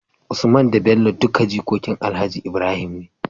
Usman da Bello duka jikokin alhaji Ibrahim ne